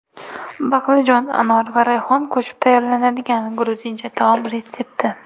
Baqlajon, anor va rayhon qo‘shib tayyorlanadigan gruzincha taom retsepti.